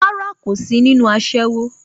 Rárá, kò sí nínú aṣẹ́wó